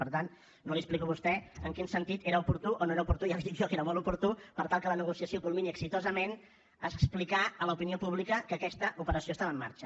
per tant no li explico a vostè en quin sentit era oportú o no era oportú ja li dic jo que era molt oportú per tal que la negociació culmini exitosament explicar a l’opinió pública que aquesta operació estava en marxa